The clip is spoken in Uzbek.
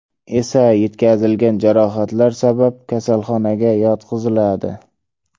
esa yetkazilgan jarohatlar sabab kasalxonaga yotqiziladi.